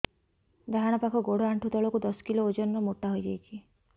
ଡାହାଣ ପାଖ ଗୋଡ଼ ଆଣ୍ଠୁ ତଳକୁ ଦଶ କିଲ ଓଜନ ର ମୋଟା ହେଇଯାଇଛି